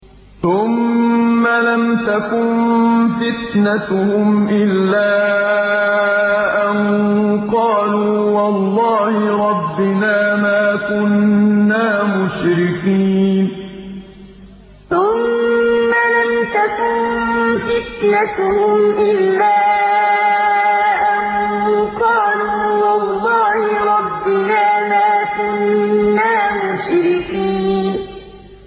ثُمَّ لَمْ تَكُن فِتْنَتُهُمْ إِلَّا أَن قَالُوا وَاللَّهِ رَبِّنَا مَا كُنَّا مُشْرِكِينَ ثُمَّ لَمْ تَكُن فِتْنَتُهُمْ إِلَّا أَن قَالُوا وَاللَّهِ رَبِّنَا مَا كُنَّا مُشْرِكِينَ